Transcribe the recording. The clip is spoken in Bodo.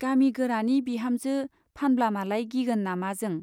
गामि गोरानि बिहामजो फानब्लामालाय गिगोन नामा जों ?